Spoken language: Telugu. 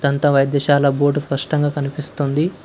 దంత వైద్యశాల గోడా స్పష్టంగా కనిపిస్తుంది.